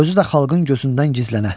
Özü də xalqın gözündən gizlənə.